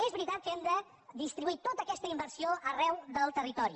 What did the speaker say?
és veritat que hem de distribuir tota aquesta inversió arreu del territori